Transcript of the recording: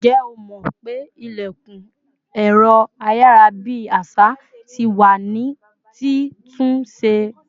Ǹjẹ́ o mó pé ilẹ̀kùn ẹ̀rọ ayarabi àṣà tí wá ní ti tún ṣe